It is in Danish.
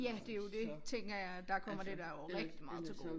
Ja det jo det tænker jeg at der kommer det dig jo rigtig meget til gode